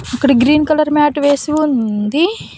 ఇక్కడ green colour mat వేసి ఉంది.